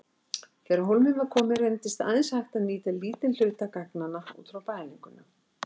Þegar á hólminn var komið reyndist aðeins hægt að nýta lítinn hluta gagnanna úr mælingunum.